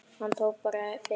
Hann tók bara fyrir eyrun!